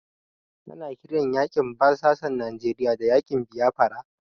Ana kiran yaƙin basasan Nijeriya da yaƙin Biyafara.